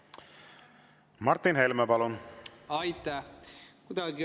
Martin Helme, palun!